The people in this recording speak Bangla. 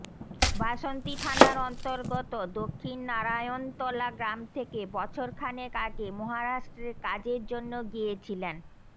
বাসন্তী থানার অন্তর্গত দক্ষিণ নারায়ণতলা গ্রাম থেকে বছরখানেক আগে মহারাষ্ট্রে কাজের জন্য গিয়েছিলেন